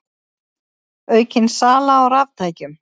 Aukin sala á raftækjum